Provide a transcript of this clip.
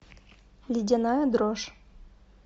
ледяная дрожь